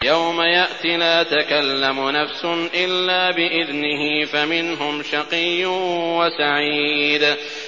يَوْمَ يَأْتِ لَا تَكَلَّمُ نَفْسٌ إِلَّا بِإِذْنِهِ ۚ فَمِنْهُمْ شَقِيٌّ وَسَعِيدٌ